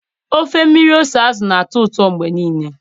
Ofe mmiri ose azụ na-atọ ụtọ mgbe niile